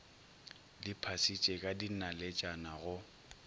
di phasitše ka dinaletšana go